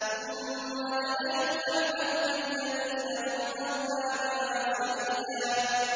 ثُمَّ لَنَحْنُ أَعْلَمُ بِالَّذِينَ هُمْ أَوْلَىٰ بِهَا صِلِيًّا